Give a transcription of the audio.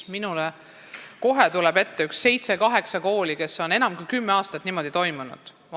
Minule tuleb kohe ette seitse-kaheksa kooli, kus on enam kui kümme aastat niimoodi toimitud.